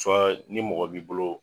Fɔ ni mɔgɔ b'i bolo.